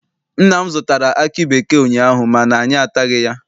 Nna m zụtara aki bekee ụnyaahụ mana anyị ataghị ya.